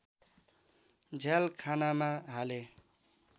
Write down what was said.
झ्यालखानामा हाले